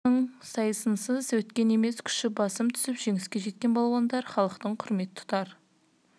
спорттың осы түрінің сайысынсыз өткен емес күші басым түсіп жеңіске жеткен балуандар халықтың құрмет тұтар